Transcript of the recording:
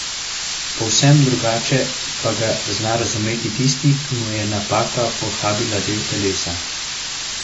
Povsem drugače pa ga zna razumeti tisti, ki mu je napaka pohabila del telesa.